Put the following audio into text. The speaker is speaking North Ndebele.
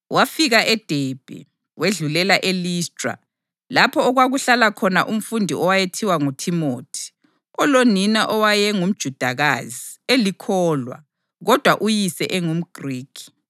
Wafika eDebhe wedlulela eListra lapho okwakuhlala khona umfundi owayethiwa nguThimothi, olonina owaye ngumJudakazi, elikholwa, kodwa uyise engumGrikhi.